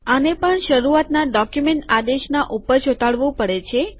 આને પણ શરૂઆતના ડોક્યુમેન્ટ આદેશના ઉપર ચોંટાડવું પડે છે